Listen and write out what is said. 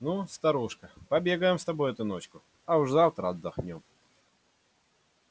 ну старушка побегаем с тобой эту ночку а уж завтра отдохнём